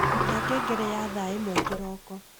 ruta ngengere ya thaa imwe kiroko